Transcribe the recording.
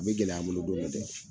A bɛ gɛlɛya an bolo dɔn dɔ dɛ